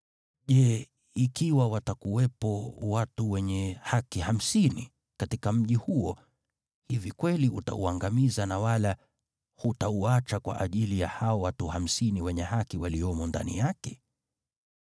Je, ikiwa watakuwepo watu wenye haki hamsini katika mji huo, hivi kweli utauangamiza na wala hutauacha kwa ajili ya hao watu hamsini wenye haki waliomo ndani yake?